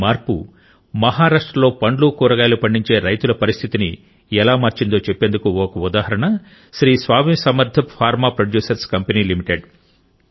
ఈ మార్పు మహారాష్ట్రలో పండ్లు కూరగాయలు పండించే రైతుల పరిస్థితిని ఎలా మార్చిందో చెప్పేందుకు ఒక ఉదాహరణ Shri Swami Samarth farm producer company limited